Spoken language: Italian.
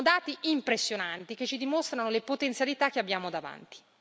Sono dati impressionanti, che ci dimostrano le potenzialità che abbiamo davanti.